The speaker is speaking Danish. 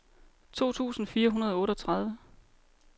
to tusind fire hundrede og otteogtredive